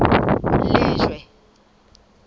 lejwe